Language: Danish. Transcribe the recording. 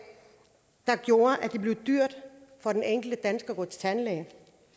der gjorde at det blev dyrt for den enkelte dansker at gå til tandlæge